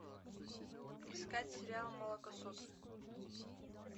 искать сериал молокососы